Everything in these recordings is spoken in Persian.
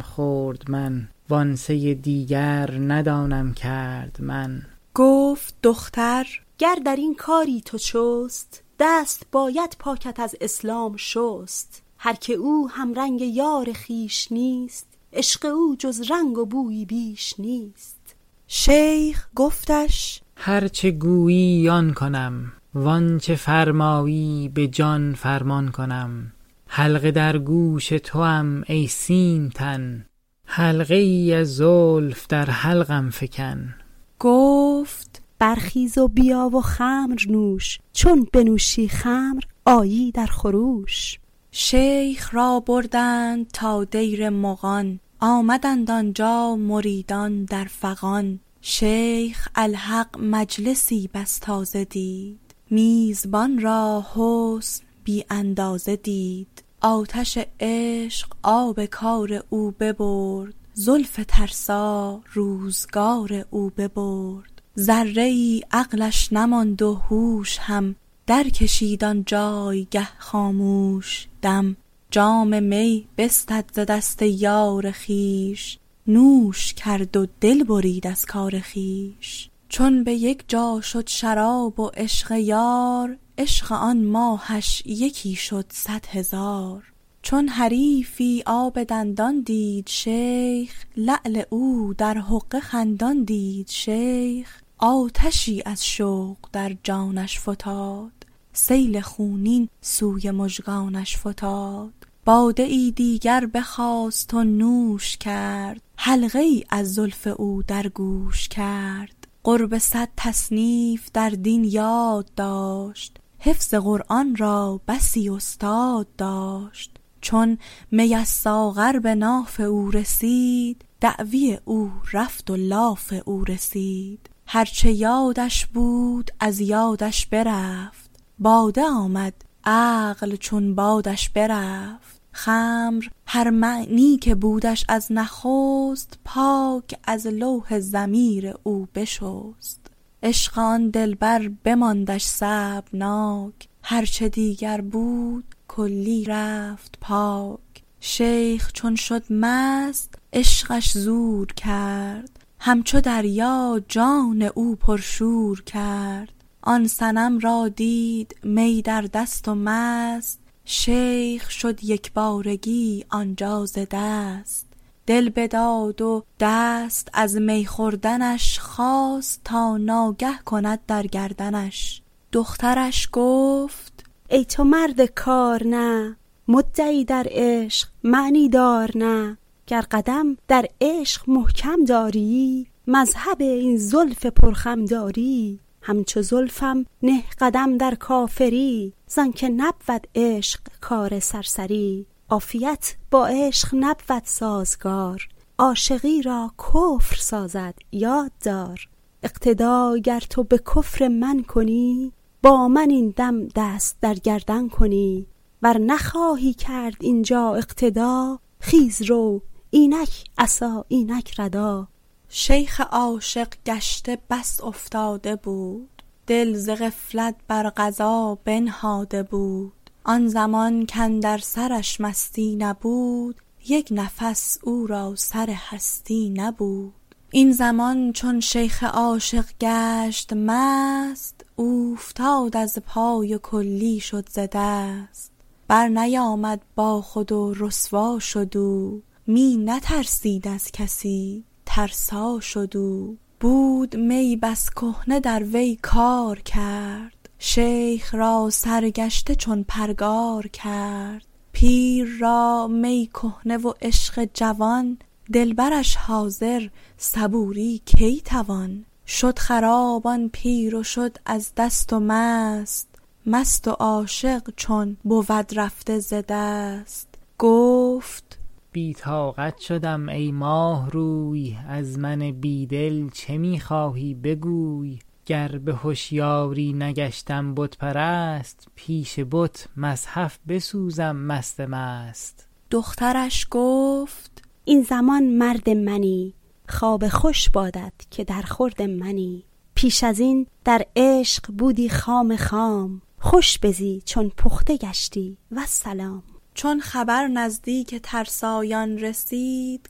خورد من و آن سه دیگر ندانم کرد من گفت دختر گر درین کاری تو چست دست باید پاکت از اسلام شست هرکه او همرنگ یار خویش نیست عشق او جز رنگ و بویی بیش نیست شیخ گفتش هرچه گویی آن کنم وآنچه فرمایی به جان فرمان کنم حلقه در گوش توام ای سیم تن حلقه ای از زلف در حلقم فکن گفت برخیز و بیا و خمر نوش چون بنوشی خمر آیی در خروش شیخ را بردند تا دیر مغان آمدند آنجا مریدان در فغان شیخ الحق مجلسی بس تازه دید میزبان را حسن بی اندازه دید آتش عشق آب کار او ببرد زلف ترسا روزگار او ببرد ذره ای عقلش نماند و هوش هم درکشید آن جایگه خاموش دم جام می بستد ز دست یار خویش نوش کرد و دل برید از کار خویش چون به یک جا شد شراب و عشق یار عشق آن ماهش یکی شد صد هزار چون حریفی آب دندان دید شیخ لعل او در حقه خندان دید شیخ آتشی از شوق در جانش فتاد سیل خونین سوی مژگانش فتاد باده ای دیگر گرفت و نوش کرد حلقه ای از زلف او در گوش کرد قرب صد تصنیف در دین یاد داشت حفظ قرآن را بسی استاد داشت چون می از ساغر به ناف او رسید دعوی او رفت و لاف او رسید هرچه یادش بود از یادش برفت باده آمد عقل چون بادش برفت خمر هر معنی که بودش از نخست پاک از لوح ضمیر او بشست عشق آن دلبر بماندش صعبناک هرچه دیگر بود کلی رفت پاک شیخ چون شد مست عشقش زور کرد همچو دریا جان او پرشور کرد آن صنم را دید می در دست و مست شیخ شد یکبارگی آنجا ز دست دل بداد از دست از می خوردنش خواست تا دستی کند در گردنش دخترش گفت ای تو مرد کار نه مدعی در عشق معنی دار نه گر قدم در عشق محکم دارییی مذهب این زلف پر خم دارییی همچو زلفم نه قدم در کافری زآن که نبود عشق کار سرسری عافیت با عشق نبود سازگار عاشقی را کفر سازد یاد دار اقتدا گر تو به کفر من کنی با من این دم دست در گردن کنی ور نخواهی کرد اینجا اقتدا خیز رو اینک عصا اینک ردا شیخ عاشق گشته کار افتاده بود دل ز غفلت بر قضا بنهاده بود آن زمان کاندر سرش مستی نبود یک نفس او را سر هستی نبود این زمان چون شیخ عاشق گشت مست اوفتاد از پای و کلی شد ز دست برنیامد با خود و رسوا شد او می نترسید از کسی ترسا شد او بود می بس کهنه در وی کار کرد شیخ را سرگشته چون پرگار کرد پیر را می کهنه و عشق جوان دلبرش حاضر صبوری کی توان شد خراب آن پیر و شد از دست و مست مست و عاشق چون بود رفته ز دست گفت بی طاقت شدم ای ماه روی از من بی دل چه می خواهی بگوی گر به هشیاری نگشتم بت پرست پیش بت مصحف بسوزم مست مست دخترش گفت این زمان مرد منی خواب خوش بادت که در خورد منی پیش ازین در عشق بودی خام خام خوش بزی چون پخته گشتی والسلام چون خبر نزدیک ترسایان رسید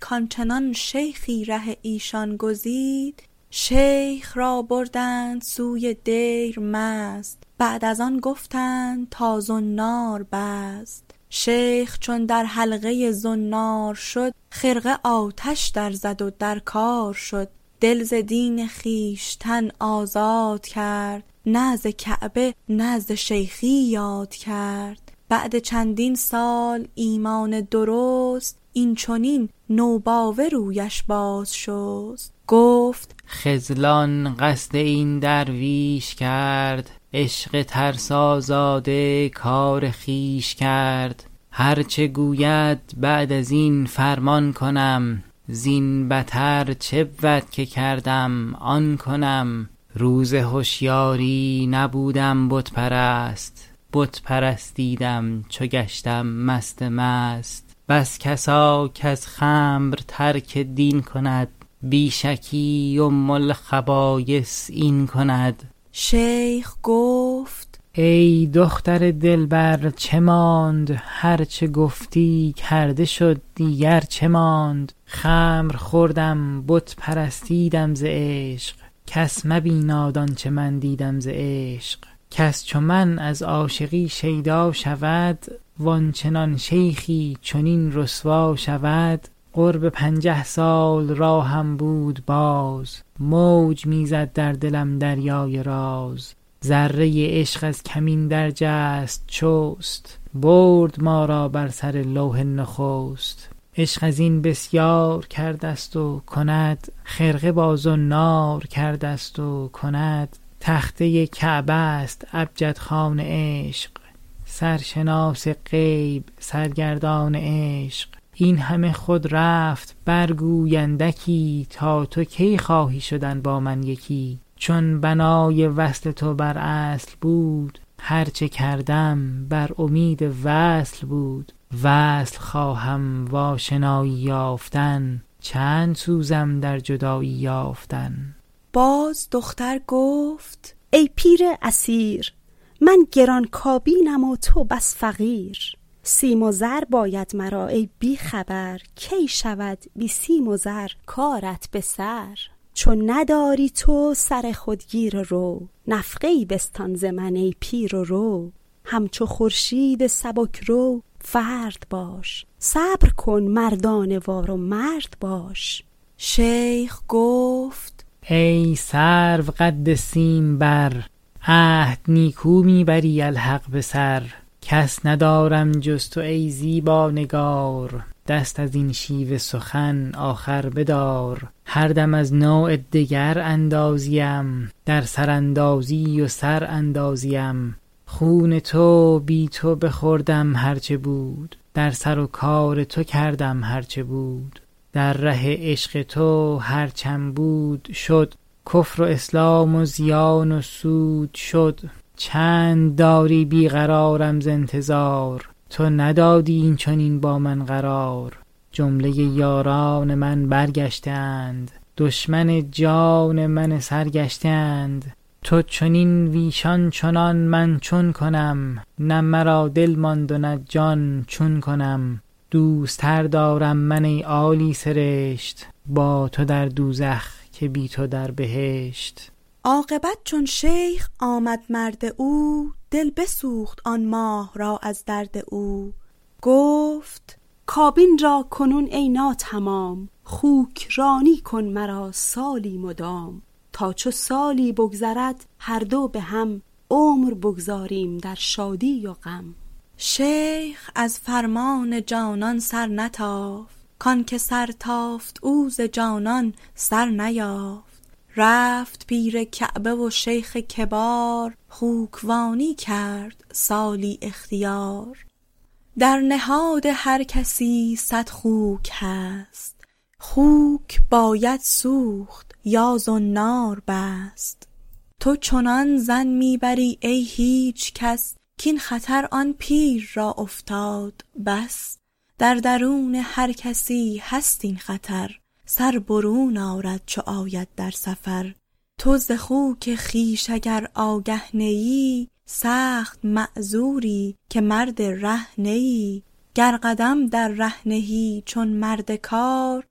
کآن چنان شیخی ره ایشان گزید شیخ را بردند سوی دیر مست بعد از آن گفتند تا زنار بست شیخ چون در حلقه زنار شد خرقه آتش در زد و در کار شد دل ز دین خویشتن آزاد کرد نه ز کعبه نه ز شیخی یاد کرد بعد چندین سال ایمان درست این چنین نوباوه رویش باز شست گفت خذلان قصد این درویش کرد عشق ترسازاده کار خویش کرد هرچه گوید بعد از این فرمان کنم زین بتر چه بود که کردم آن کنم روز هشیاری نبودم بت پرست بت پرستیدم چو گشتم مست مست بس کسا کز خمر ترک دین کند بی شکی ام الخبایث این کند شیخ گفت ای دختر دلبر چه ماند هرچه گفتی کرده شد دیگر چه ماند خمر خوردم بت پرستیدم ز عشق کس مبیناد آنچه من دیدم ز عشق کس چو من از عاشقی شیدا شود و آن چنان شیخی چنین رسوا شود قرب پنجه سال راهم بود باز موج می زد در دلم دریای راز ذره ای عشق از کمین درجست چست برد ما را بر سر لوح نخست عشق از این بسیار کردست و کند خرقه با زنار کردست و کند تخته کعبه است ابجدخوان عشق سرشناس غیب سرگردان عشق این همه خود رفت برگوی اندکی تا تو کی خواهی شدن با من یکی چون بنای وصل تو بر اصل بود هرچه کردم بر امید وصل بود وصل خواهم و آشنایی یافتن چند سوزم در جدایی یافتن باز دختر گفت ای پیر اسیر من گران کابینم و تو بس فقیر سیم و زر باید مرا ای بی خبر کی شود بی سیم و زر کارت به سر چون نداری تو سر خود گیر و رو نفقه ای بستان ز من ای پیر و رو همچو خورشید سبک رو فرد باش صبر کن مردانه وار و مرد باش شیخ گفت ای سروقد سیم بر عهد نیکو می بری الحق به سر کس ندارم جز تو ای زیبا نگار دست ازین شیوه سخن آخر بدار هر دم از نوع دگر اندازیم در سر اندازی و سر اندازیم خون تو بی تو بخوردم هرچه بود در سر و کار تو کردم هرچه بود در ره عشق تو هر چم بود شد کفر و اسلام و زیان و سود شد چند داری بی قرارم ز انتظار تو ندادی این چنین با من قرار جمله یاران من برگشته اند دشمن جان من سرگشته اند تو چنین وایشان چنان من چون کنم نه مرا دل ماند و نه جان چون کنم دوست تر دارم من ای عیسی سرشت با تو در دوزخ که بی تو در بهشت عاقبت چون شیخ آمد مرد او دل بسوخت آن ماه را از درد او گفت کابین را کنون ای ناتمام خوک وانی کن مرا سالی مدام تا چو سالی بگذرد هر دو به هم عمر بگذاریم در شادی و غم شیخ از فرمان جانان سرنتافت کآن که سر تافت او ز جانان سر نیافت رفت پیر کعبه و شیخ کبار خوک وانی کرد سالی اختیار در نهاد هر کسی صد خوک هست خوک باید کشت یا زنار بست تو چنان ظن می بری ای هیچ کس کاین خطر آن پیر را افتاد بس در درون هر کسی هست این خطر سر برون آرد چو آید در سفر تو ز خوک خویش اگر آگه نه ای سخت معذوری که مرد ره نه ای گر قدم در ره نهی چون مرد کار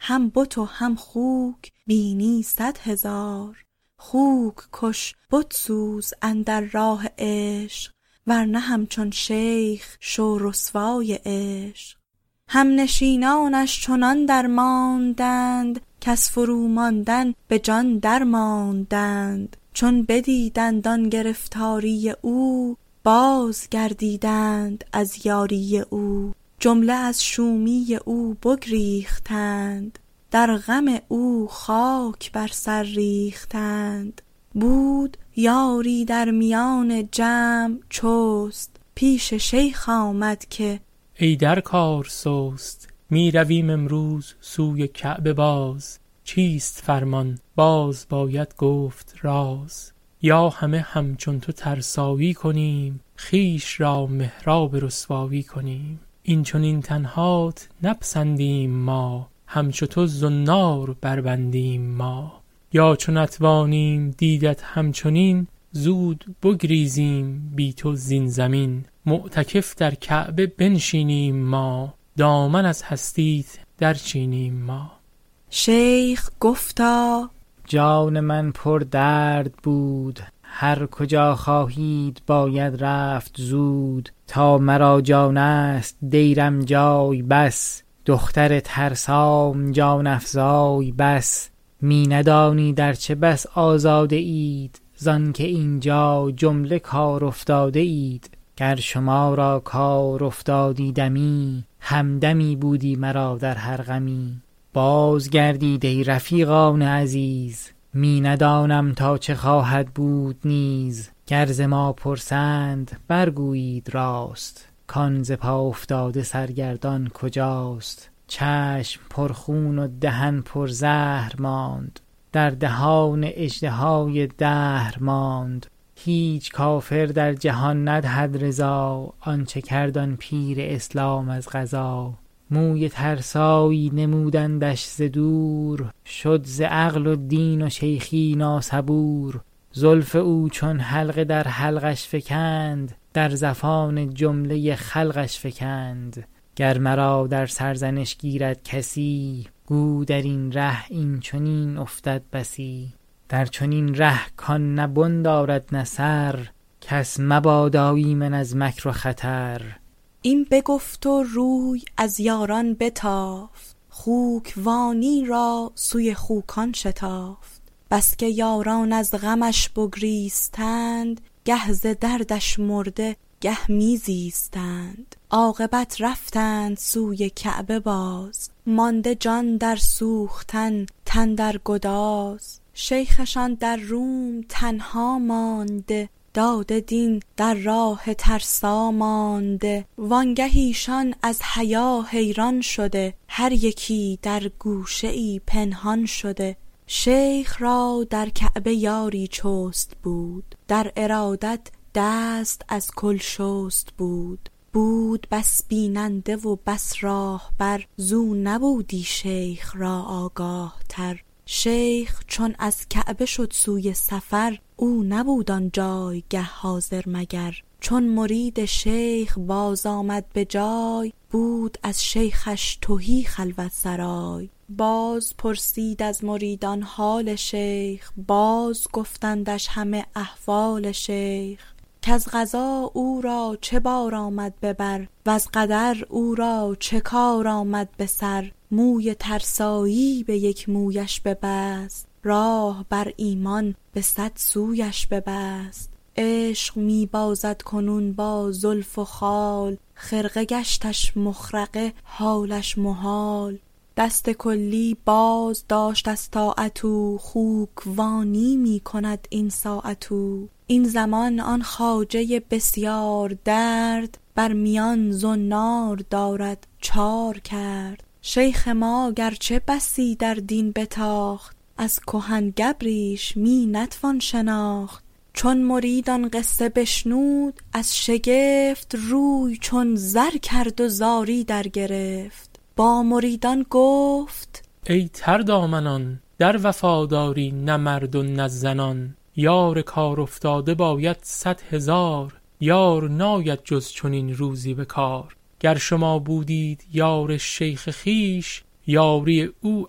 هم بت و هم خوک بینی صد هزار خوک کش بت سوز در سودای عشق ورنه همچون شیخ شو رسوای عشق هم نشینانش چنان درماندند کز فرو ماندن به جان درماندند چون بدیدند آن گرفتاری او بازگردیدند از یاری او جمله از شومی او بگریختند در غم او خاک بر سر ریختند بود یاری در میان جمع چست پیش شیخ آمد که ای در کار سست می رویم امروز سوی کعبه باز چیست فرمان باز باید گفت راز یا همه همچون تو ترسایی کنیم خویش را محراب رسوایی کنیم این چنین تنهات نپسندیم ما همچو تو زنار بربندیم ما یا چو نتوانیم دیدت هم چنین زود بگریزیم بی تو زین زمین معتکف در کعبه بنشینیم ما دامن از هستیت در چینیم ما شیخ گفتا جان من پر درد بود هر کجا خواهید باید رفت زود تا مرا جانست دیرم جای بس دختر ترسام جان افزای بس می ندانید ارچه بس آزاده اید زآن که اینجا کار ناافتاده اید گر شما را کار افتادی دمی همدمی بودی مرا در هر غمی باز گردید ای رفیقان عزیز می ندانم تا چه خواهد بود نیز گر ز ما پرسند برگویید راست کآن ز پا افتاده سرگردان کجاست چشم پر خون و دهن پر زهر ماند در دهان اژدهای قهر ماند هیچ کافر در جهان ندهد رضا آنچه کرد آن پیر اسلام از قضا روی ترسایی نمودندش ز دور شد ز عقل و دین و شیخی ناصبور زلف او چون حلقه در حلقش فکند در زفان جمله خلقش فکند گر مرا در سرزنش گیرد کسی گو درین ره این چنین افتد بسی در چنین ره کآن نه بن دارد نه سر کس مبادا ایمن از مکر و خطر این بگفت و روی از یاران بتافت خوک وانی را سوی خوکان شتافت بس که یاران از غمش بگریستند گه ز دردش مرده گه می زیستند عاقبت رفتند سوی کعبه باز مانده جان در سوختن تن در گداز شیخشان در روم تنها مانده داده دین در راه ترسا مانده وآنگه ایشان از حیا حیران شده هر یکی در گوشه ای پنهان شده شیخ را در کعبه یاری چست بود در ارادت دست از کل شست بود بود بس بیننده و بس راهبر زو نبودی شیخ را آگاه تر شیخ چون از کعبه شد سوی سفر او نبود آنجایگه حاضر مگر چون مرید شیخ باز آمد به جای بود از شیخش تهی خلوت سرای باز پرسید از مریدان حال شیخ باز گفتندش همه احوال شیخ کز قضا او را چه بار آمد به بر وز قدر او را چه کار آمد به سر موی ترسایی به یک مویش ببست راه بر ایمان به صد سویش ببست عشق می بازد کنون با زلف و خال خرقه گشتش مخرقه حالش محال دست کلی بازداشت از طاعت او خوک وانی می کند این ساعت او این زمان آن خواجه بسیار درد بر میان زنار دارد چار کرد شیخ ما گرچه بسی در دین بتاخت از کهن گبریش می نتوان شناخت چون مرید آن قصه بشنود از شگفت روی چون زر کرد و زاری درگرفت با مریدان گفت ای تر دامنان در وفاداری نه مرد و نه زنان یار کار افتاده باید صد هزار یار ناید جز چنین روزی به کار گر شما بودید یار شیخ خویش یاری او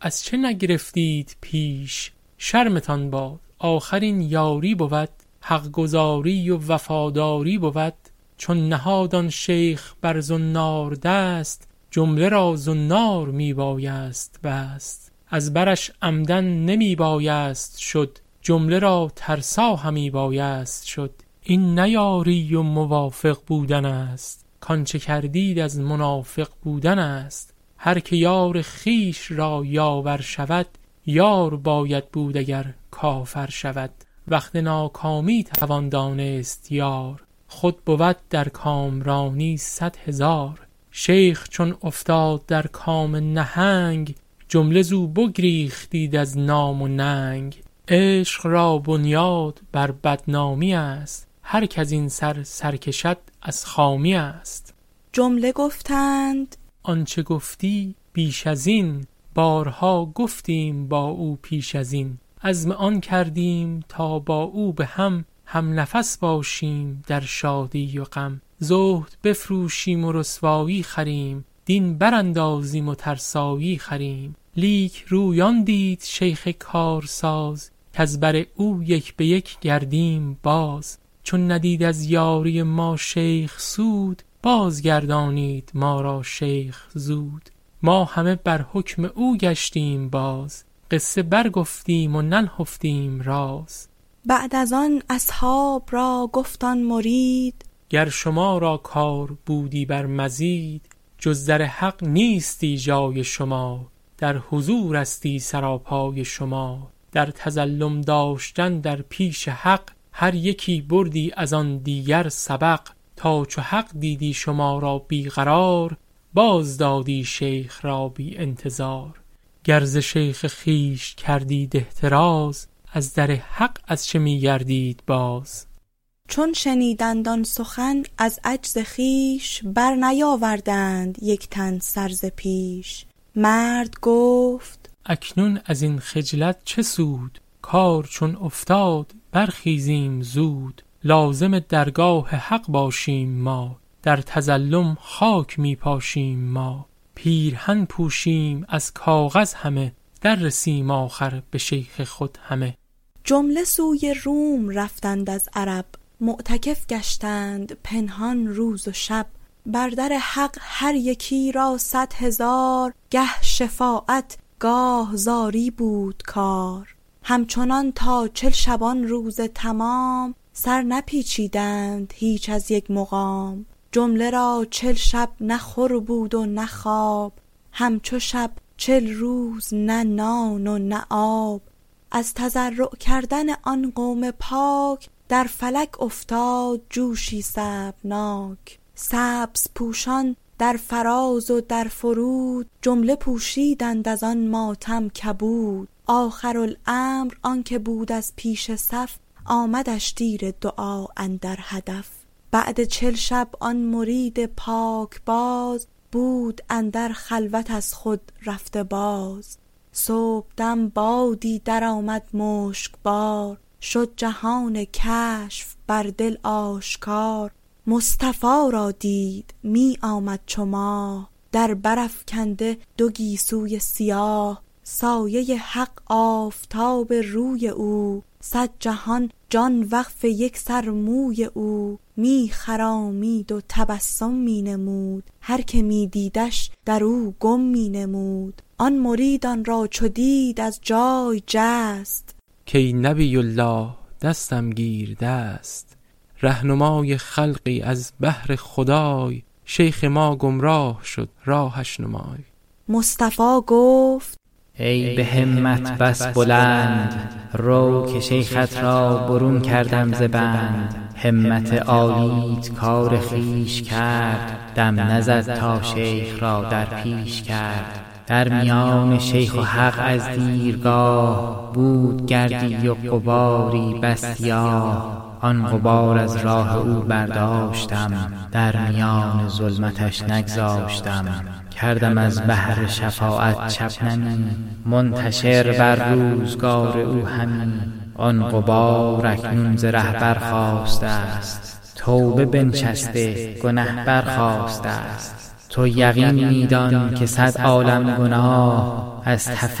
از چه نگرفتید پیش شرمتان باد آخر این یاری بود حق گزاری و وفاداری بود چون نهاد آن شیخ بر زنار دست جمله را زنار می بایست بست از برش عمدا نمی بایست شد جمله را ترسا همی بایست شد این نه یاری و موافق بودنست کآنچه کردید از منافق بودنست هرکه یار خویش را یاور شود یار باید بود اگر کافر شود وقت ناکامی توان دانست یار خود بود در کامرانی صد هزار شیخ چون افتاد در کام نهنگ جمله زو بگریختید از نام و ننگ عشق را بنیاد بر بدنامی است هرک ازین سر سرکشد از خامی است جمله گفتند آنچه گفتی بیش ازین بارها گفتیم با او پیش ازین عزم آن کردیم تا با او به هم هم نفس باشیم در شادی و غم زهد بفروشیم و رسوایی خریم دین براندازیم و ترسایی خریم لیک روی آن دید شیخ کارساز کز بر او یک به یک گردیم باز چون ندید از یاری ما شیخ سود بازگردانید ما را شیخ زود ما همه بر حکم او گشتیم باز قصه برگفتیم و ننهفتیم راز بعد از آن اصحاب را گفت آن مرید گر شما را کار بودی بر مزید جز در حق نیستی جای شما در حضورستی سرا پای شما در تظلم داشتن در پیش حق هر یکی بردی از آن دیگر سبق تا چو حق دیدی شما را بی قرار بازدادی شیخ را بی انتظار گر ز شیخ خویش کردید احتراز از در حق از چه می گردید باز چون شنیدند آن سخن از عجز خویش برنیاوردند یک تن سر ز پیش مرد گفت اکنون ازین خجلت چه سود کار چون افتاد برخیزیم زود لازم درگاه حق باشیم ما در تظلم خاک می پاشیم ما پیرهن پوشیم از کاغذ همه در رسیم آخر به شیخ خود همه جمله سوی روم رفتند از عرب معتکف گشتند پنهان روز و شب بر در حق هر یکی را صد هزار گه شفاعت گاه زاری بود کار همچنان تا چل شبانروز تمام سر نپیچیدند هیچ از یک مقام جمله را چل شب نه خور بود و نه خواب هم چو شب چل روز نه نان و نه آب از تضرع کردن آن قوم پاک در فلک افتاد جوشی صعبناک سبزپوشان در فراز و در فرود جمله پوشیدند از آن ماتم کبود آخرالامر آن که بود از پیش صف آمدش تیر دعا اندر هدف بعد چل شب آن مرید پاکباز بود اندر خلوت از خود رفته باز صبحدم بادی درآمد مشکبار شد جهان کشف بر دل آشکار مصطفی را دید می آمد چو ماه در بر افکنده دو گیسوی سیاه سایه حق آفتاب روی او صد جهان جان وقف یک یک موی او می خرامید و تبسم می نمود هرکه می دیدش در او گم می نمود آن مرید آن را چو دید از جای جست کای نبی الله دستم گیر دست رهنمای خلقی از بهر خدای شیخ ما گمراه شد راهش نمای مصطفی گفت ای به همت بس بلند رو که شیخت را برون کردم ز بند همت عالیت کار خویش کرد دم نزد تا شیخ را در پیش کرد در میان شیخ و حق از دیرگاه بود گردی و غباری بس سیاه آن غبار از راه او برداشتم در میان ظلمتش نگذاشتم کردم از بحر شفاعت شبنمی منتشر بر روزگار او همی آن غبار اکنون ز ره برخاستست توبه بنشسته گنه برخاستست تو یقین می دان که صد عالم گناه از تف